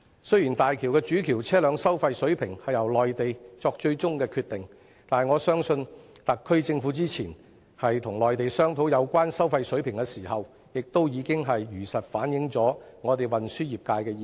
雖然大橋主橋的車輛收費水平最終由內地決定，但我相信特區政府之前與內地商討有關收費水平時，已經如實反映運輸業界的意見。